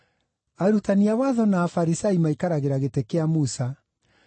“Arutani a watho na Afarisai maikaragĩra gĩtĩ kĩa Musa.